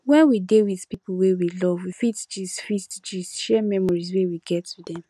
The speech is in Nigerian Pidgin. when we dey with pipo wey we love we fit gist fit gist share memories wey we get with them